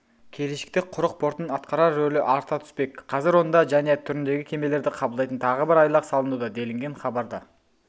келешекте құқрық портының атқарар рөлі арта түспек қазыр онда және түріндегі кемелерді қабылдайтын тағы бір айлақ салынуда делінген хабарда